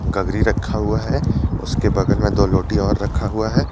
गगरी रखा हुआ है उसके बगल में दो लोटी और रखा हुआ है।